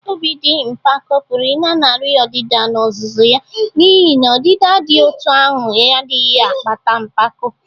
Obi dị mpako pụrụ ịlanarị ọdịda n’ozuzu ya n’ihi na ọdịda dị otú ahụ adịghị akpata mpako.